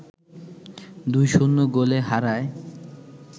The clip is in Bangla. ২-০ গোলে হারায়